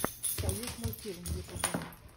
союзмультфильм в ютюбе